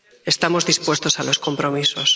Estamos dispuestos a los compromisos.